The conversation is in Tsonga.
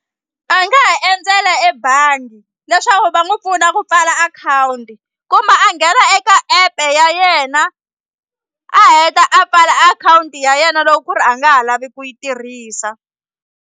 A nga ha endzela ebangi leswaku va n'wi pfuna ku pfala akhawunti kumbe a nghena eka app-e ya yena a heta a pfala akhawunti ya yena loko ku ri a nga ha lavi ku yi tirhisa.